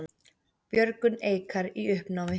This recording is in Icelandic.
Björgun Eikar í uppnámi